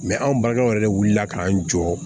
anw balimakɛw yɛrɛ wulila k'an jɔ